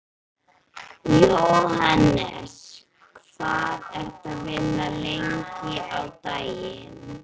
Jóhannes: Hvað ertu að vinna lengi á daginn?